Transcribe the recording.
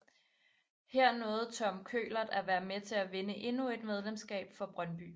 Her nåede Tom Køhlert at være med til at vinde endnu et mesterskab for Brøndby